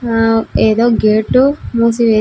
హ ఏదో గేట్ మూసి వేయ.